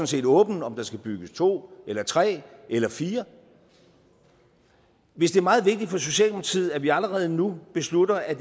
set åbent om der skal bygges to eller tre eller fire hvis det er meget vigtigt for socialdemokratiet at vi allerede nu beslutter at